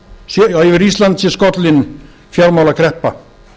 að yfir ísland sé skollin fjármálakreppa